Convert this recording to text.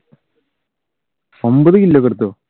ഒൻപത് kill എടുത്തോ?